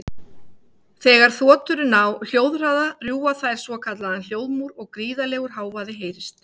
þegar þotur ná hljóðhraða rjúfa þær svokallaðan hljóðmúr og gríðarlegur hávaði heyrist